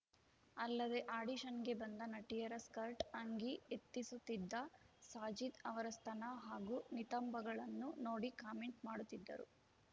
ಅಲ್ಲದೆ ಆಡಿಶನ್‌ಗೆ ಬಂದ ನಟಿಯರ ಸ್ಕರ್ಟ್‌ ಅಂಗಿ ಎತ್ತಿಸುತ್ತಿದ್ದ ಸಾಜಿದ್‌ ಅವರ ಸ್ತನ ಹಾಗೂ ನಿತಂಬಗಳನ್ನು ನೋಡಿ ಕಾಮೆಂಟ್‌ ಮಾಡುತ್ತಿದ್ದರು